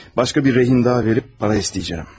Başqa bir girov da verib pul istəyəcəyəm.